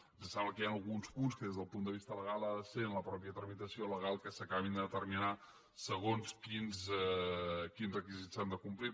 ens sembla que hi ha alguns punts que des del punt de vista legal ha de ser en la mateixa tramitació legal que s’acabin de determinar segons quins requisits s’han de complir